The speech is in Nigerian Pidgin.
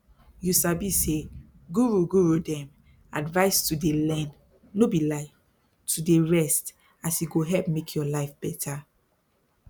you sabi say guru guru dem advise to dey learn no be lie to dey rest as e go help make your life better